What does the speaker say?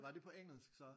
Var det på engelsk så?